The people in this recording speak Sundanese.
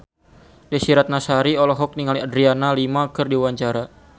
Desy Ratnasari olohok ningali Adriana Lima keur diwawancara